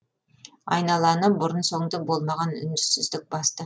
айналаны бұрын соңды болмаған үнсіздік басты